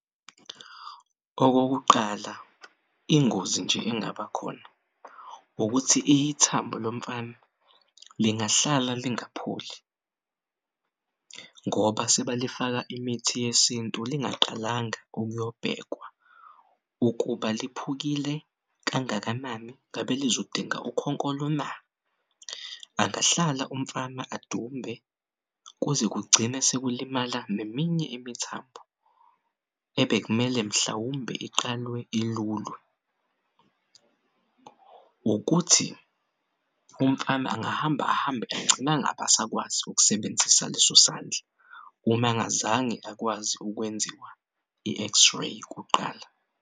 Okokuqal,a ingozi nje engabakhona ukuthi ithambo lomfana lingahlala lingapholi, ngoba sebalifaka imithi yesintu lingaqalanga ukuyobhekwa ukuba liphukile kangakanani ngabe lizodinga ukhonkolo na. Angahlala umfana adumbe kuze kugcine sekulimala neminye imithambo ebekumele mhlawumbe iqale ilulwe. Nokuthi umfana angahamba ahambe agcinangabasakwazi ukusebenzisa leso sandla umangazange akwazi ukwenziwa i-X-ray kuqala.